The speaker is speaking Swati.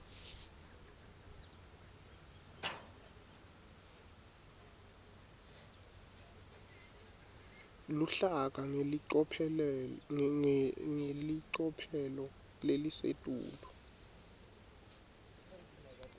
luhlaka ngelicophelo lelisetulu